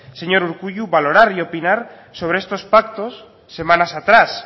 señor urkullu valorar y opinar sobre estos pactos semanas atrás